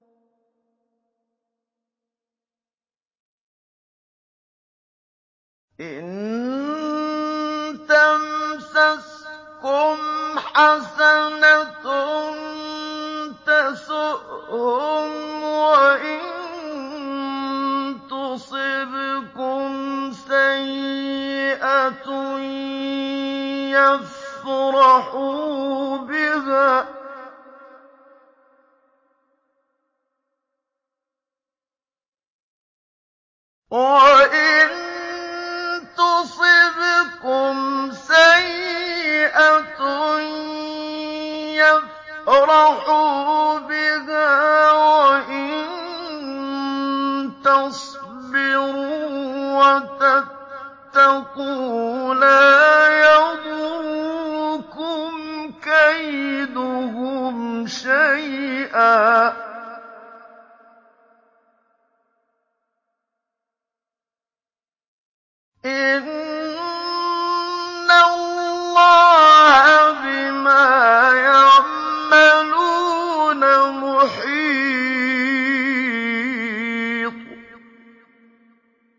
إِن تَمْسَسْكُمْ حَسَنَةٌ تَسُؤْهُمْ وَإِن تُصِبْكُمْ سَيِّئَةٌ يَفْرَحُوا بِهَا ۖ وَإِن تَصْبِرُوا وَتَتَّقُوا لَا يَضُرُّكُمْ كَيْدُهُمْ شَيْئًا ۗ إِنَّ اللَّهَ بِمَا يَعْمَلُونَ مُحِيطٌ